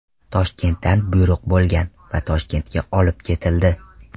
Toshkentdan buyruq bo‘lgan va Toshkentga olib ketildi.